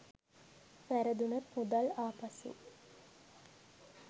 වැරදුනොත් මුදල් ආපසු